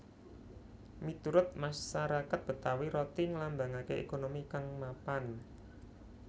Miturut masarakat Betawi roti nglambangaké ékonomi kang mapan